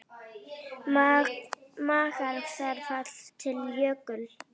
Margar þverár falla til Jöklu.